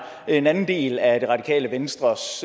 en anden del af det radikale venstres